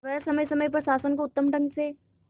वह समय समय पर शासन को उत्तम ढंग से